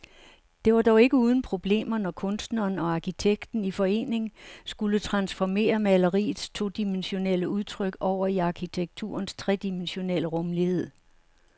Det var dog ikke uden problemer, når kunstneren og arkitekten i forening skulle transformere maleriets todimensionelle udtryk over i arkitekturens tredimensionelle rumlighed.